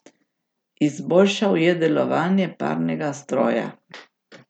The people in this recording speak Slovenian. Izboljšal je delovanje parnega stroja.